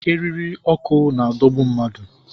Eriri ọkụ na-adọgbu mmadụ